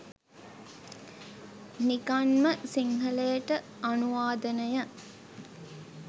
නිකං ම සිංහලට අනුවාදනය